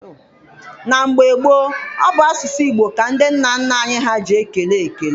Na mgbe gboo, ọ bụ n'asụsụ Igbo ka ndị nna nna anyị ha ji ekele ekele.